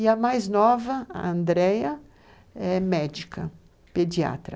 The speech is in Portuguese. E a mais nova, a Andrea, é médica, pediatra.